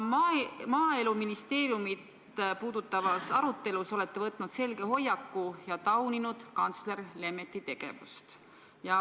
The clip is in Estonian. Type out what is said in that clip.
Olete Maaeluministeeriumit puudutavas arutelus võtnud selge hoiaku ja tauninud kantsler Lemetti tegevust.